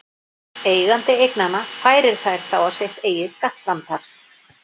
Eigandi eignanna færir þær þá á sitt eigið skattframtal.